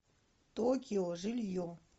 токио жилье